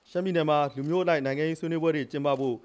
ရှမ်းပြည်နယ်မှာ လူမျိုးအလိုက် အမျိုးသားအဆင့်နိုင်ငံရေးဆွေးနွေးပွဲ ကျင်းပဖို့